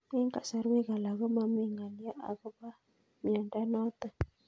Eng'kasarwek alak ko mami ng'alyo akopo miondo notok